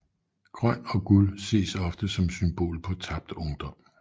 Grøn og guld ses ofte som symbol på tabt ungdom